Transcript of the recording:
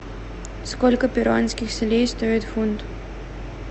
сколько перуанских солей стоит фунт